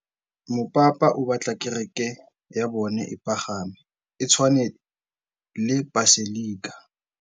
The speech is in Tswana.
Mopapa o batla kereke ya bone e pagame, e tshwane le paselika.